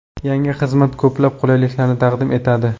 Yangi xizmat ko‘plab qulayliklarni taqdim etadi.